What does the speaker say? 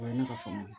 O ye ne ka faamuya ye